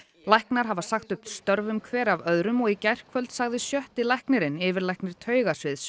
læknar hafa sagt upp störfum hver af öðrum og í gærkvöld sagði sjötti læknirinn yfirlæknir